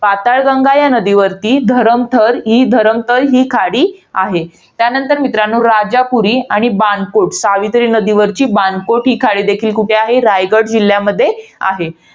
पाताळगंगा या नदीवर धरमथर~ धरमतर ही खाडी आहे. त्यानंतर मित्रांनो, राजापुरी आणि बाणकोट सावित्री नदीवरची बाणकोट ही खाडी देखील कुठे आहे? रायगड जिल्ह्यामध्ये आहे.